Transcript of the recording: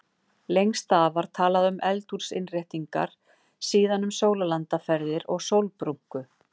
Lengst af var talað um eldhúsinnréttingar, síðan um sólarlandaferðir og sólbrúnku.